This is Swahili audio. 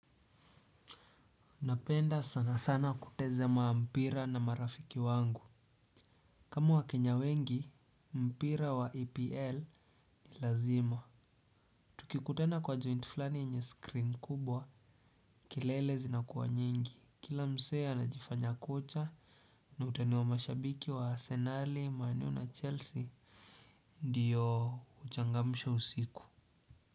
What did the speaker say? Napenda sana sana kutazama mpira na marafiki wangu. Kama wakenya wengi, mpira wa EPL ni lazima. Tukikutana kwa joint flani yenye screen kubwa, kelele zinakuwa nyingi. Kila msee anajifanya kocha, na utawaona mashabiki wa Asenali manu na Chelsea. Ndio uchangamsho usiku.